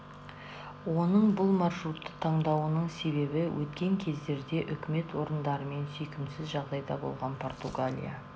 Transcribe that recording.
оның бұл маршрутты таңдауының себебі өткен кездерде үкімет орындарымен сүйкімсіз жағдайда болған португалия